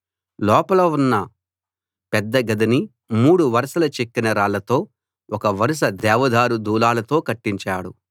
లోపల ఉన్న పెద్ద గదిని మూడు వరసల చెక్కిన రాళ్లతో ఒక వరుస దేవదారు దూలాలతో కట్టించాడు